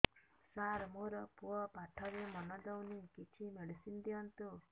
ସାର ମୋର ପୁଅ ପାଠରେ ମନ ଦଉନି କିଛି ମେଡିସିନ ଦିଅନ୍ତୁ